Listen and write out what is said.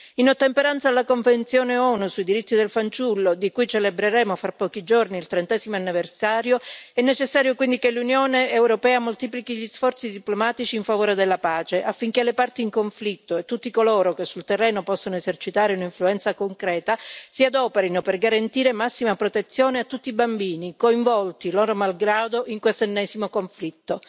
In ottemperanza alla Convenzione ONU sui diritti del fanciullo di cui celebreremo fra pochi giorni il trentesimo anniversario è necessario quindi che l'Unione europea moltiplichi gli sforzi diplomatici in favore della pace, affinché le parti in conflitto e tutti coloro che sul terreno possono esercitare un'influenza concreta si adoperino per garantire massima protezione a tutti i bambini coinvolti loro malgrado in questo ennesimo conflitto.